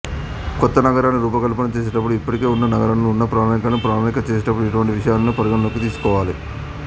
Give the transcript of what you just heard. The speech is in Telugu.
కొత్త నగరాన్ని రూపకల్పన చేసేటప్పుడు ఇప్పటికే ఉన్న నగరాలకు ఉన్న ప్రణాళికను ప్రణాళిక చేసేటప్పుడు ఇటువంటి విషయాలను పరిగణనలోకి తీసుకోవాలి